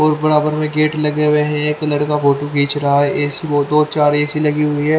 और बराबर में गेट लगे हुए हैं एक लड़का फोटो खींच रहा चार ए_सी लगी हुई है।